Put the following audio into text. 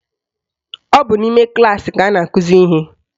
Ọ bụ n'ime klaasị ka a na-akụzi ihe